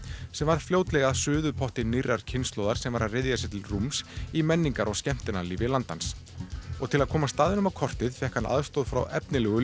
sem varð fljótlega að suðupotti nýrrar kynslóðar sem var að ryðja sér til rúms í menningar og skemmtanalífi landans og til að koma staðnum á kortið fékk hann aðstoð frá efnilegu